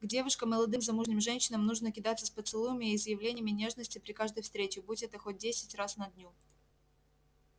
к девушкам и молодым замужним женщинам нужно кидаться с поцелуями и изъявлениями нежности при каждой встрече будь это хоть десять раз на дню